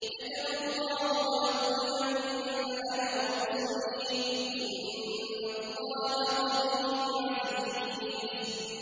كَتَبَ اللَّهُ لَأَغْلِبَنَّ أَنَا وَرُسُلِي ۚ إِنَّ اللَّهَ قَوِيٌّ عَزِيزٌ